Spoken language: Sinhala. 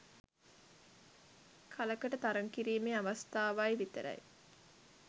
කලකට තරග කිරීමේ අවස්ථාවයි විතරයි.